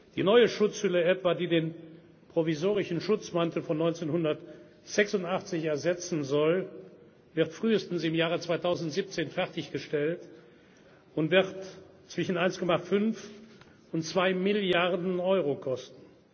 aufwändig. Die neue Schutzhülle etwa, die den provisorischen Schutzmantel von 1986 ersetzen soll, wird frühestens im Jahr 2017 fertiggestellt und wird zwischen 1,5 und 2 Milliarden